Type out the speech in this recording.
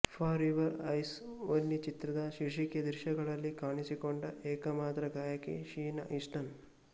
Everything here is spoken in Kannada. ಫಾರ್ ಯುವರ್ ಐಸ್ ಓನ್ಲಿ ಚಿತ್ರದ ಶೀರ್ಷಿಕೆ ದೃಶ್ಯಗಳಲ್ಲಿ ಕಾಣಿಸಿಕೊಂಡ ಏಕಮಾತ್ರ ಗಾಯಕಿ ಶೀನಾ ಈಸ್ಟನ್